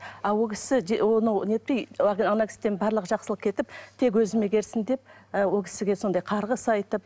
а ол кісі оны нетпей ана кісіден барлық жақсылық кетіп тек өзіме берсін деп ы ол кісіге сондай қарғыс айтып